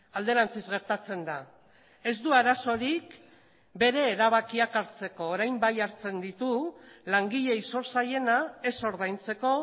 alderantziz gertatzen da ez du arazorik bere erabakiak hartzeko orain bai hartzen ditu langileei zor zaiena ez ordaintzeko